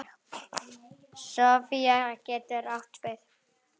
Sofía getur átt við